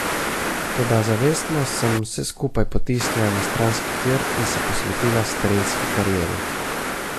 Toda zavestno sem vse skupaj potisnila na stranski tir in se posvetila strelski karieri.